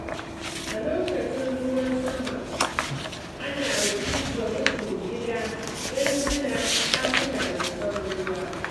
A lokacin ruwan sama, ana duba rufin gida don hana ɗakuna zubar ruwa.